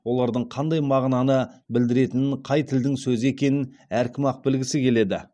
олардың қандай мағынаны білдіретінін қай тілдің сөзі екенін әркім ақ білгісі келеді